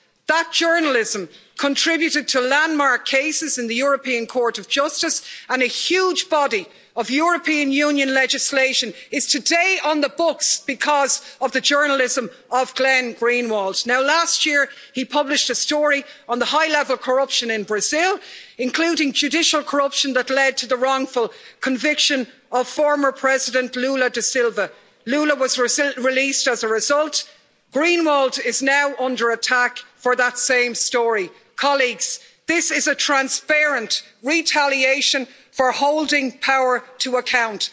That journalism contributed to landmark cases in the European Court of Justice, and a huge body of European Union legislation is today on the books because of the journalism of Glenn Greenwald. Last year he published a story on the high level corruption in Brazil, including judicial corruption that led to the wrongful conviction of former President Lula da Silva. Lula was released as a result Greenwald is now under attack for that same story. Colleagues, this is a transparent retaliation for holding power to account.